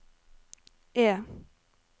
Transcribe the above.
E